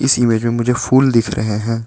Image में मुझे फुल दिख रहे हैं।